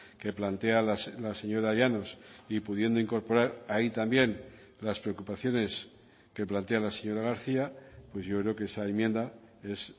que plantea la señora llanos y pudiendo incorporar ahí también las preocupaciones que plantea la señora garcía pues yo creo que esa enmienda es